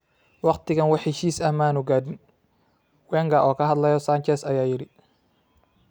“Wakhtigan wax heshiis ah maanu gaadhin,” Wenger oo ka hadlaya Sanchez ayaa yidhi.